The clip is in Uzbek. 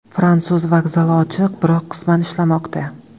Fransuz vokzali ochiq, biroq qisman ishlamoqda.